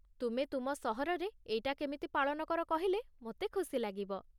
ତୁମେ ତୁମ ସହରରେ ଏଇଟା କେମିତି ପାଳନ କର କହିଲେ ମୋତେ ଖୁସି ଲାଗିବ ।